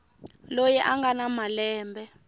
loyi a nga na malembe